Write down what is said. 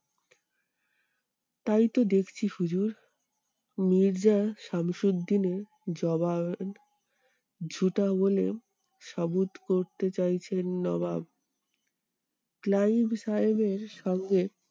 তাইতো দেখছি হুজুর। মির্জা সামসুদ্দিনের জবাব বলে করতে চাইছেন নবাব। ক্লাইভ সাহেবের সঙ্গে